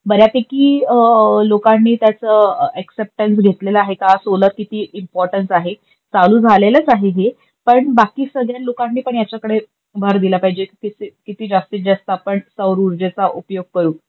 बऱ्यापैकी लोकांनी त्याच एक्सेपट्न्स घेतलेले आहे का सोलार किती इम्पोर्तांत आहे. चालू झालेलंच आहे हे, पण बाकी सगळ्या लोकांनीपण ह्याच्याकडे भार दिला पाहिजेल किती जास्तीत जास्त आपण सौरउर्जेचा उपयोग करू.